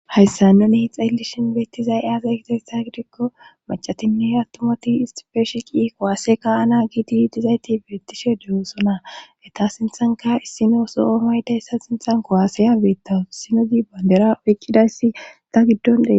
Hayssa nuni xeellishin beettizay aasa kitaysa gidikko macatinne attumati istifeeshi qi kowaase ka ana giiti dizayti beettishe deyoosona eta sinthanka issino so'o hayda essa sinthan ko aasaya beetta issino zi bandera oyqqidayssi ta giddon dhee.